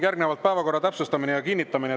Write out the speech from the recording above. Järgnevalt päevakorra täpsustamine ja kinnitamine.